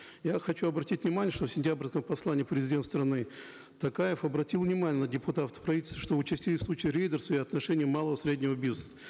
я хочу обратить внимание что в сентябрьском послании президент страны токаев обратил внимание на депутатов правительства что участились случаи рейдерства и отношение малого среднего бизнеса